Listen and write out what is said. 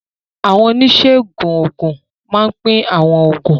Àwọn oníṣègùn òògùn máa ń pín àwọn oògùn.